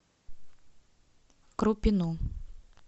крупину